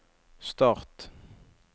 start